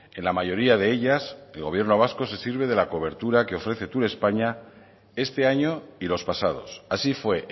en la mayoría de ellas el gobierno vasco se sirve de la cobertura que ofrece turespaña este año y los pasados así fue